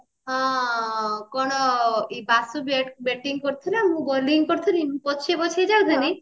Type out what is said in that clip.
ହଁ ହଁ କଣ ଏ ବାସୁ bating କରୁଥିଲା ମୁଁ bowling କରୁଥିଲା ମୁଁ ପଛେଇ ପଛେଇ ଯାଉଥିଲି